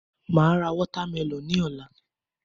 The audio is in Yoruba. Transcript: Màá ra watermelon ní òla